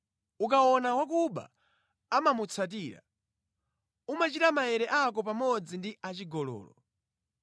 Ukaona wakuba umamutsatira, umachita maere ako pamodzi ndi achigololo